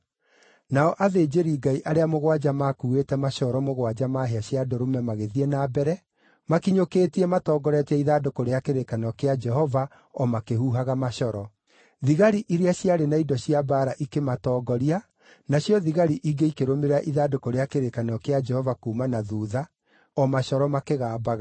Nao athĩnjĩri-Ngai arĩa mũgwanja makuuĩte macoro mũgwanja ma hĩa cia ndũrũme magĩthiĩ na mbere, makinyũkĩtie matongoretie ithandũkũ rĩa kĩrĩkanĩro kĩa Jehova o makĩhuhaga macoro. Thigari iria ciarĩ na indo cia mbaara ikĩmatongoria, nacio thigari ingĩ ikĩrũmĩrĩra ithandũkũ rĩa kĩrĩkanĩro kĩa Jehova kuuma na thuutha, o macoro makĩgambaga.